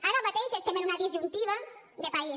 ara mateix estem en una disjuntiva de país